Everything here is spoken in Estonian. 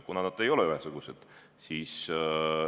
Aga nad ei ole ühesugused.